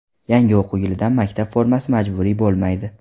Yangi o‘quv yilidan maktab formasi majburiy bo‘lmaydi.